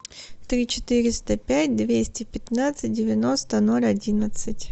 три четыреста пять двести пятнадцать девяносто ноль одиннадцать